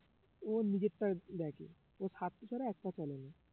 ওর নিজেরটা দেখে ওর স্বার্থ ছাড়া একপা চলে না